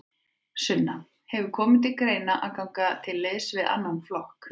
Sunna: Hefur komið til greina að ganga til liðs við annan flokk?